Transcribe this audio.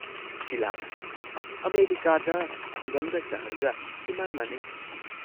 ꯁꯤꯂꯥꯅ "ꯑꯃꯦꯔꯤꯀꯥꯗ ꯈꯨꯡꯒꯪꯒ ꯁꯍꯔꯒ ꯏꯃꯥꯟ ꯃꯥꯟꯅꯩ ꯫